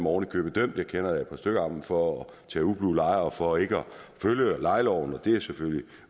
oven i købet dømt jeg kender da et par stykker for at tage ublu lejer og for ikke at følge lejeloven det er selvfølgelig